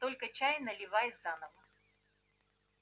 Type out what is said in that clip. только чай наливай заново